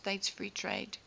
states free trade